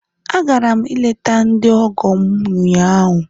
Agara m ileta ndi ọgọ m ụnyahụ